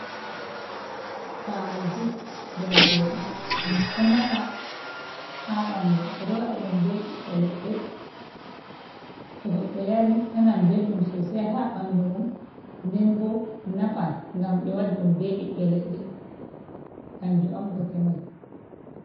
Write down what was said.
Pali jus, jarateɗam, ɗoo nafa ha ɓandu, bedo wada dum beɓiɓɓe leɗɗe to goddo yari nanan belɗum sosai ha ɓandu mum, nden boo nafan gam be wadi dum bebiɓɓe leɗɗe amje on bote mai.